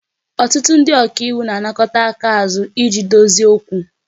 Ọtụtụ ndị ọka iwu na-anakọta aka azu iji dozie okwu